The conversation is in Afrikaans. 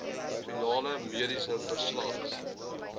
finale mediese verslag